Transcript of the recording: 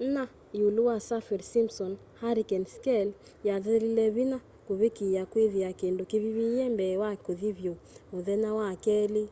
4 iulu wa saffir-simpson hurricane scale yathelile vinya kuvikiia kwithia kindu kivivile mbee wa kuthi vyu muthenya wa keli